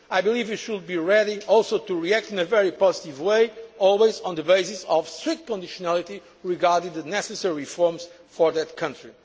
approach. I believe we should also be ready to react in a very positive way, always on the basis of strict conditionality regarding the necessary reforms for